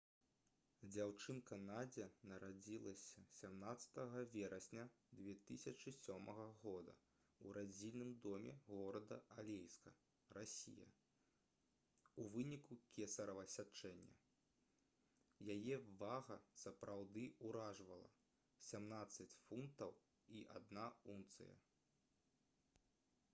дзяўчынка надзя нарадзілася 17 верасня 2007 года ў радзільным доме горада алейска расія у выніку кесарава сячэння. яе вага сапраўды ўражвала — 17 фунтаў і 1 унцыя